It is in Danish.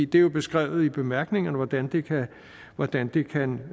det er jo beskrevet i bemærkningerne hvordan det hvordan det kan